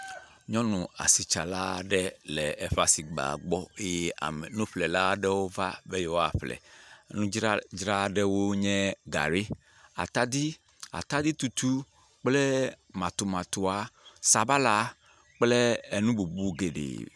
Ŋutsu sia le nane ƒlem le nyɔnua gbɔ ye nyɔnua le nua tsɔm ne ŋutsua. Nyɔnua le atadiwɔ, sabala, edze kple nu bubuwo hã dzram. Nugui aɖe le egbɔ. Ɖeviwo hã tsi atsitre le wo kpɔm. Wo dometɔ aɖewo hã wole nudzadzrawo ɖe ta.